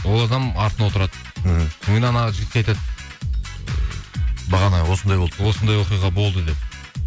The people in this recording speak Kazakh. ол адам артына отырды іхі кейін жігітке айтады бағана осындай болды осындай оқиға болды деп